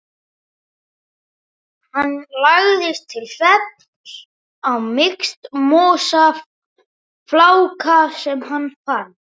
Hann lagðist til svefns á mýksta mosafláka sem hann fann.